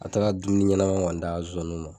A taara dumuni ɲɛnama d'a ma